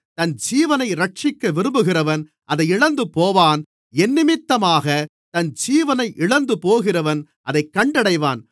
தன் ஜீவனை இரட்சிக்க விரும்புகிறவன் அதை இழந்துபோவான் என்னிமித்தமாகத் தன் ஜீவனை இழந்துபோகிறவன் அதைக் கண்டடைவான்